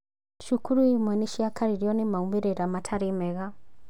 Cukuru imwe nĩ cirakaririo nĩ maumĩrĩra matarĩ mega